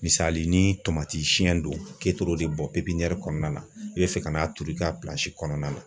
Misali ni tomati siyɛn do k'e toor'e de bɔn kɔnɔna na i bɛ fɛ ka n'a turu i ka kɔnɔna na.